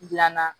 Dilanna